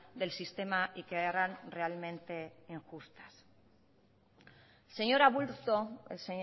del sistema y que eran realmente injustas el señor aburto el